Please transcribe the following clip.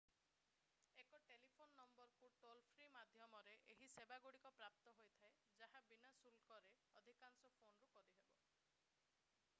ଏକ ଟେଲିଫୋନ ନମ୍ବରରୁ ଟୋଲ-ଫ୍ରୀ ମାଧ୍ୟମରେ ଏହି ସେବାଗୁଡ଼ିକ ପ୍ରାପ୍ତ ହୋଇଥାଏ ଯାହା ବିନା ଶୁଳ୍କରେ ଅଧିକାଂଶ ଫୋନରୁ କରିହେବ